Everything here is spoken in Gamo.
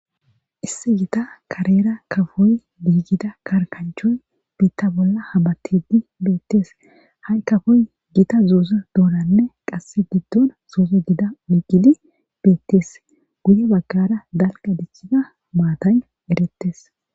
issi gita karera kafoy biigida karkanchoy biitta bolla habatidi beettes ha7i kafoy gita zooze dooranne qasse giddon zooze gida oiigidi beettes guye baggara dalqa dichiza maatay erettes